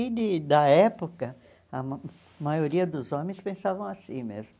E, de da época, a ma maioria dos homens pensavam assim mesmo.